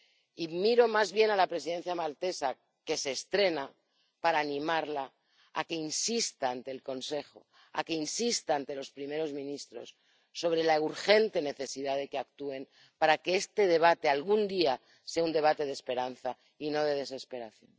Y miro más bien a la Presidencia maltesa, que se estrena, para animarla a que insista ante el Consejo, a que insista ante los primeros ministros sobre la urgente necesidad de que actúen para que este debate algún día sea un debate de esperanza y no de desesperanza.